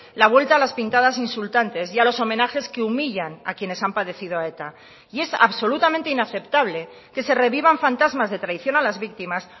la vuelta a las pintadas insultantes y a los homenajes que humillan a quienes han padecido a eta y es absolutamente inaceptable que se revivan fantasmas de traición a las víctimas